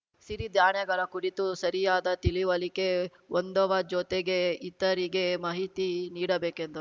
ಸಿರಿಧಾನ್ಯಗಳ ಕುರಿತು ಸರಿಯಾದ ತಿಳಿವಳಿಕೆ ಹೊಂದವ ಜೊತೆಗೆ ಇತರಿಗೆ ಮಾಹಿತಿ ನೀಡಬೇಕೆಂದ